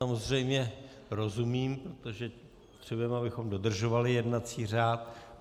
Samozřejmě rozumím, protože chceme, abychom dodržovali jednací řád.